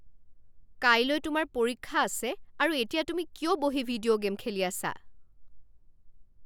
কাইলৈ তোমাৰ পৰীক্ষা আছে আৰু এতিয়া তুমি কিয় বহি ভিডিঅ' গে'ম খেলি আছা?